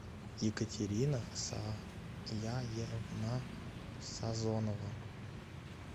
екатерина саяевна сазонова